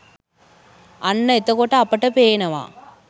අන්න එතකොට අපට පේනවා